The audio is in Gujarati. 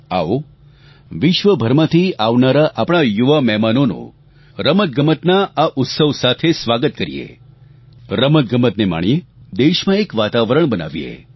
આવો વિશ્વભરમાંથી આવનારા આપણાં યુવા મહેમાનોનું રમતગમતના આ ઉત્સવ સાથે સ્વાગત કરીએ રમતગમતને માણીએ દેશમાં એક વાતાવરણ બનાવીએ